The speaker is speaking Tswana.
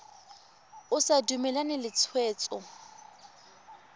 o sa dumalane le tshwetso